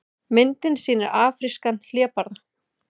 Myndin sýnir afrískan hlébarða.